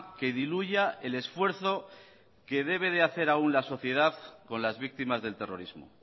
que diluya el esfuerzo que debe hacer aún la sociedad con las víctimas del terrorismo